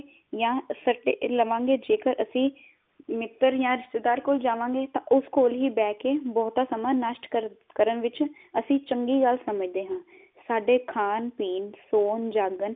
ਜਾਂ ਜੇਕਰ ਅਸੀਂ ਮਿੱਤਰ ਜਾਂ ਰਿਸ਼ਤੇਦਾਰ ਕੋਲ ਜਾਵਾਂਗੇ ਤਾ ਉਸ ਕੋਲ ਹੀ ਬੈ ਕੇ ਬਹੁਤਾ ਸਮਾ ਨਸ਼ਟ ਕਰ ਕਰਨ ਵਿਚ ਅਸੀਂ ਚੰਗੀ ਗਲ ਸਮਝਦੇ ਹਾਂ। ਸਾਡੇ ਖਾਣ, ਪੀਣ, ਸੌਣ, ਜਾਗਣ